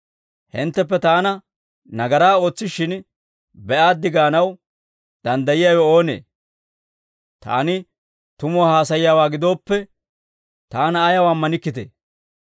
Hintteppe Taana nagaraa ootsishshin be'aaddi gaanaw danddayiyaawe oonee? Taani tumuwaa haasayiyaawaa gidoppe, Taana ayaw ammanikkitee?